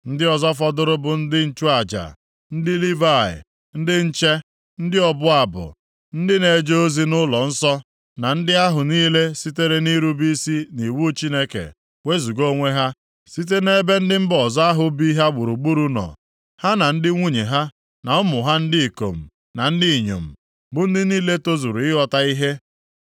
“Ndị ọzọ fọdụrụ bụ ndị nchụaja, ndị Livayị, ndị nche, ndị ọbụ abụ, ndị na-eje ozi nʼụlọnsọ na ndị ahụ niile sitere nʼirube isi nʼiwu Chineke wezuga onwe ha site nʼebe ndị mba ọzọ ahụ bi ha gburugburu nọ, ha na ndị nwunye ha na ụmụ ha ndị ikom na ndị inyom, bụ ndị niile tozuru ịghọta ihe.